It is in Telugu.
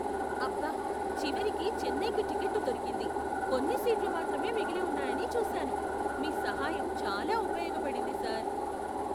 అబ్బ! చివరికి చెన్నైకి టిక్కెట్టు దొరికింది. కొన్ని సీట్లు మాత్రమే మిగిలి ఉన్నాయని చూశాను. మీ సహాయం చాలా ఉపయోగపడింది సార్